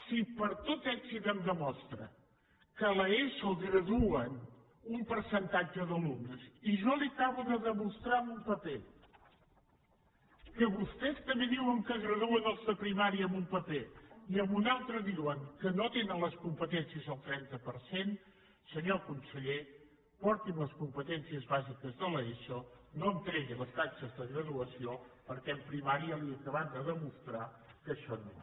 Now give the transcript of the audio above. si per tot èxit em demostra que a l’eso graduen un percentatge d’alumnes i jo li acabo de demostrar amb un paper que vostès també diuen que graduen els de primària amb un paper i amb un altre diuen que no tenen les competències el trenta per cent senyor conseller porti’m les competències bàsiques de l’eso no em tregui les taxes de graduació perquè en primària li he acabat de demostrar que això no va